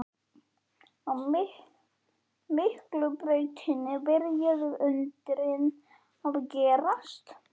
Á Miklubrautinni byrjuðu undrin að gerast.